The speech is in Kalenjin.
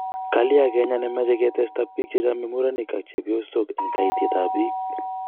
Kalya kenya nemache ketesta bik chechame murenik ak chebiosok eng keitiet ab bik